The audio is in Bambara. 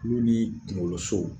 Kulo ni kunkolosow